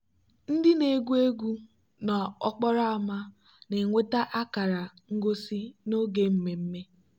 ndị na-egwu egwu n'okporo ámá na-enweta akara ngosi n'oge mmemme.